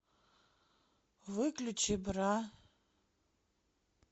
выключи бра